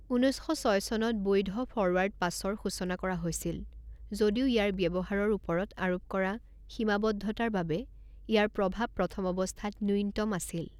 ঊনৈছ শ ছয় চনত বৈধ ফৰৱাৰ্ড পাছৰ সূচনা কৰা হৈছিল, যদিও ইয়াৰ ব্যৱহাৰৰ ওপৰত আৰোপ কৰা সীমাবদ্ধতাৰ বাবে ইয়াৰ প্ৰভাৱ প্ৰথম অৱস্থাত ন্যূনতম আছিল।